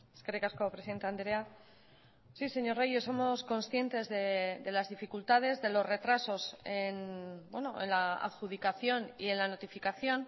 eskerrik asko presidente andrea sí señor reyes somos conscientes de las dificultades de los retrasos en la adjudicación y en la notificación